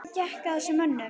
Hvað gekk að þessum mönnum?